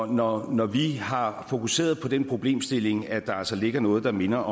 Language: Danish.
når når vi har fokuseret på den problemstilling at der altså ligger noget der minder